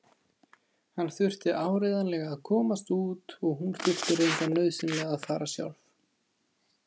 Hann þurfti áreiðanlega að komast út og hún þurfti reyndar nauðsynlega að fara sjálf.